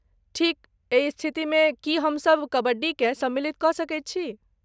ठीक, एहि स्थितिमे, की हमसब कबड्डीकेँ सम्मिलित कऽ सकैत छी?